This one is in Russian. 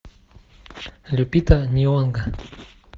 люпита нионго